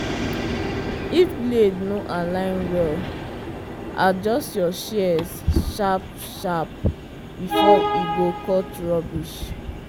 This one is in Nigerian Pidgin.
if blade no align well adjust your shears sharp-sharp before e go cut rubbish.